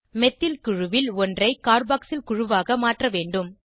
methyl குழுவில் ஒன்றை carboxyl குழுவாக மாற்ற வேண்டும்